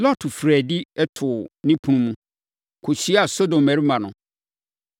Lot firii adi, too ne ɛpono mu, kɔhyiaa Sodom mmarima no.